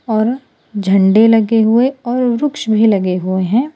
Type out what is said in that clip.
और झंडे लगे हुए और वृक्ष भी लगे हुए हैं।